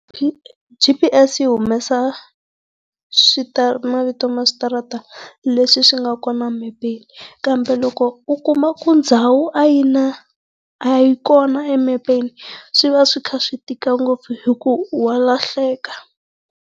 G_P_S yi humesa mavito ma switarata leswi swi nga kona mepeni, kambe loko u kuma ku ndhawu a yina a yi kona emepeni, swi va swi kha swi tika ngopfu hi ku walahleka.